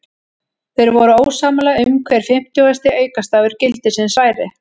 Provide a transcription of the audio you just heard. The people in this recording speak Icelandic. Þeir voru ósammála um hver fimmtugasti aukastafur gildisins væri.